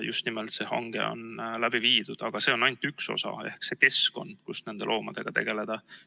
See hange on läbi viidud, aga see on ainult üks osa ehk see keskkond, kus nende loomadega tegeleda.